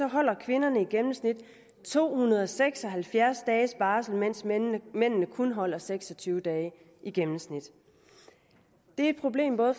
holder kvinderne i gennemsnit to hundrede og seks og halvfjerds dages barsel mens mændene mændene kun holder seks og tyve dage i gennemsnit det er et problem for